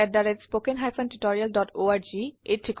কথন শিক্ষণ প্ৰকল্প তাল্ক ত a টিচাৰ প্ৰকল্পৰ এটা অংগ